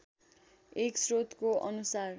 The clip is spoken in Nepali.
एक स्रोतको अनुसार